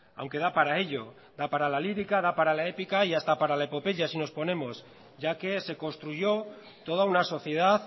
aunque da para ello da para la lírica da para épica y hasta para la epopeya si nos ponemos ya que se construyó toda una sociedad